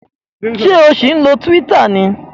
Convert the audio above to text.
Ṣé o ṣì ń lo Twitter?